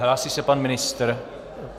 Hlásí se pan ministr.